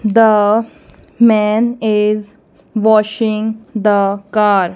the man is washing the car.